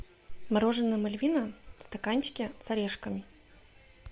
мороженое мальвина в стаканчике с орешками